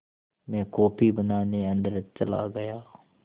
मैं कॉफ़ी बनाने अन्दर चला गया